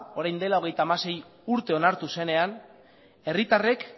orain dela hogeita hamasei urte onartu zenean herritarrek